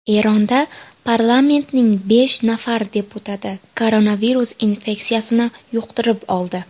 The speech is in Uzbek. Eronda parlamentning besh nafar deputati koronavirus infeksiyasini yuqtirib oldi.